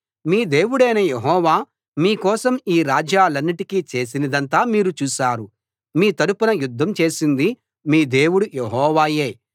మీ దేవుడైన యెహోవా మీ కోసం ఈ రాజ్యాలన్నిటికీ చేసినదంతా మీరు చూశారు మీ తరఫున యుద్ధం చేసింది మీ దేవుడు యెహోవాయే